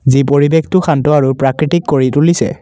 যি পৰিৱেশটো শান্ত আৰু প্ৰাকৃতিক কৰি তুলিছে।